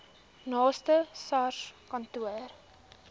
naaste sars kantoor